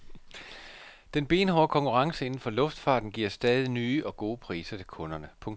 Den benhårde konkurrence inden for luftfarten giver stadig nye og gode priser til kunderne. punktum